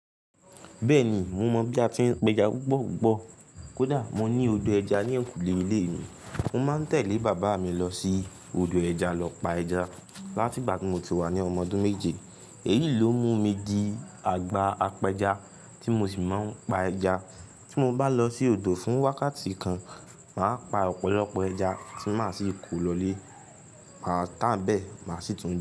Bẹ́ẹ̀ni, mo mọ̀ bí a tí ń péja púpọ̀púpọ̀. Kódà mo ní odò ẹja ní eyinkule ilé mi. Mo máa ń tẹ̀lé bàbá mi lọ sí odò ẹja lọ pa ẹja láti ìgbà tí mo ti wà ní ọmọ ọdún méje. Èyí ló mú mi di àgbà apẹja tí mo sì máa ń pa ẹja. Tí mo bá lọ sí odò fún wákàtí kan, màá pa ọ̀pọ̀lọpọ̀ ẹja tí màá sì kó lọ lé, màá tà á nbẹ̀, màá sì tún.